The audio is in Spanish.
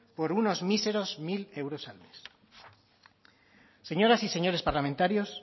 por unos míseros mil euros al mes señoras y señores parlamentarios